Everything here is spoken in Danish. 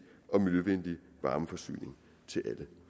og miljøvenlig varmeforsyning til alle